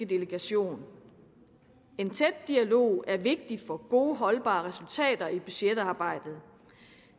delegation en tæt dialog er vigtig for gode holdbare resultater i budgetarbejdet